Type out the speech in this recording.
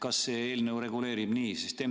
Kas see eelnõu reguleerib nii?